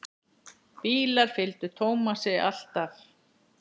Bílar fylgdu Tómasi alltaf.